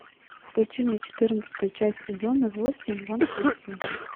включи мне четырнадцатую часть сезона восемь ван хельсинг